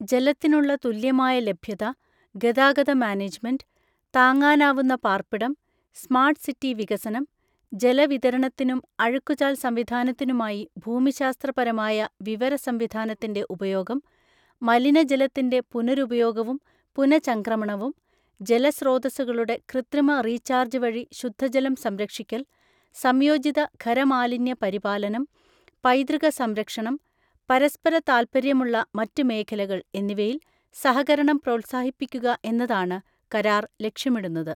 ജലത്തിനുള്ള തുല്യമായ ലഭ്യത, ഗതാഗത മാനേജ്മെന്റ്, താങ്ങാനാവുന്ന പാർപ്പിടം, സ്മാർട്ട് സിറ്റി വികസനം, ജലവിതരണത്തിനും അഴുക്കുചാൽ സംവിധാനത്തിനുമായി ഭൂമിശാസ്ത്രപരമായ വിവര സംവിധാനത്തിന്റെ ഉപയോഗം, മലിനജലത്തിന്റെ പുനരുപയോഗവും പുനചംക്രമണവും, ജല സ്രോതസ്സുകളുടെ കൃത്രിമ റീചാർജ് വഴി ശുദ്ധജലം സംരക്ഷിക്കൽ, സംയോജിത ഖരമാലിന്യ പരിപാലനം, പൈതൃക സംരക്ഷണം, പരസ്പര താൽപ്പര്യമുള്ള മറ്റ് മേഖലകൾ എന്നിവയിൽ സഹകരണം പ്രോത്സാഹിപ്പിക്കുക എന്നതാണ് കരാർ ലക്ഷ്യമിടുന്നത്.